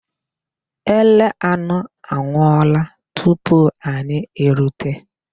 Ele anọ anwụọla tupu anyị erute